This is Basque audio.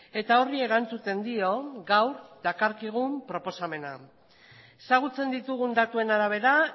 eta horri erantzuten dio gaur dakarkigun proposamenak ezagutzen ditugun datuen arabera